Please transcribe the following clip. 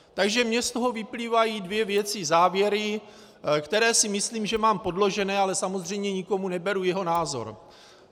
Takže mně z toho vyplývají dvě věci, závěry, které si myslím, že mám podložené, ale samozřejmě nikomu neberu jeho názor.